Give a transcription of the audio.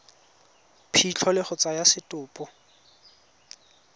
phitlho le go tsaya setopo